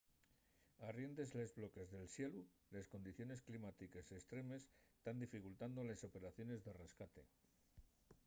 arriendes de los bloques de xelu les condiciones climátiques estremes tán dificultando les operaciones de rescate